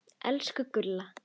Elsku Gulla.